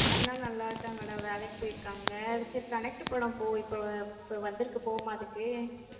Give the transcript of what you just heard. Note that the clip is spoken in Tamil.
அண்ணா நல்லா இருக்காங்கடா, வேலைக்கு போயிருக்காங்க சரி connect படம் போ~ இப்ப இப்ப வந்திருக்கு போவோமா அதுக்கு?